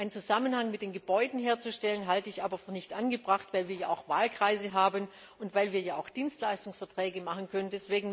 Einen Zusammenhang mit den Gebäuden herzustellen, halte ich aber für nicht angebracht, weil wir auch Wahlkreise haben und Dienstleistungsverträge machen